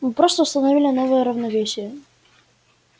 мы просто установили новое равновесие